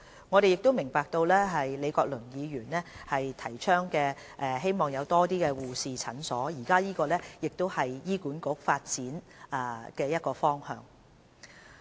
我們亦明白李國麟議員希望有更多護士診所，這亦是醫管局的其中一個發展方向。